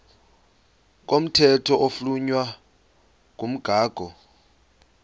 komthetho oflunwa ngumgago